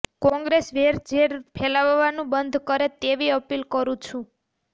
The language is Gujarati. કોંગ્રેસ વેરઝેર ફેલાવવાનું બંધ કરે તેવી અપીલ કરૂં છું